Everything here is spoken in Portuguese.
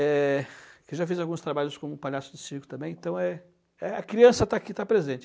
Eh, que eu já fiz alguns trabalhos como palhaço de circo também, então eh eh a criança está aqui, está presente.